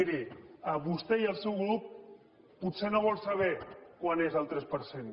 miri vostè i el seu grup potser no volen saber quant és el tres per cent